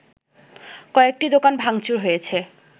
কয়েকটি দোকান ভাংচুর হয়েছে